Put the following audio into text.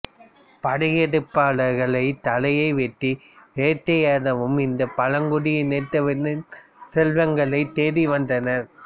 படையெடுப்பாளர்கள் தலையை வெட்டி வேட்டையாடவும் இந்த பழங்குடி இனத்தவரின் செல்வங்களையும் தேடி வந்தனர்